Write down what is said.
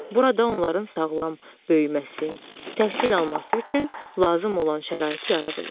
Burada onların sağlam böyüməsi, təhsil alması üçün lazım olan şərait yaradılır.